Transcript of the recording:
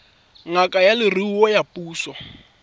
ngaka ya leruo ya puso